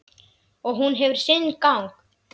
Og hún hefur sinn gang.